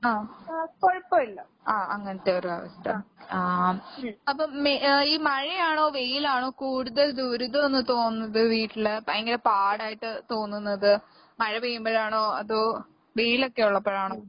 ആഹ്. ആഹ് അങ്ങനത്തൊരവസ്ഥ. ആഹ്. അപ്പ മേ ഏ ഈ മഴയാണോ വെയിലാണോ കൂടുതൽ ദുരിതവെന്ന് തോന്നുന്നത് വീട്ടില്, ഭയങ്കര പാടായിട്ട് തോന്നുന്നത് മഴ പെയ്യുമ്പഴാണോ അതോ വെയിലൊക്കെ ഒള്ളപ്പഴാണോ?